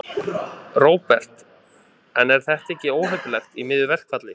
Róbert: En er þetta ekki óheppilegt í miðju verkfalli?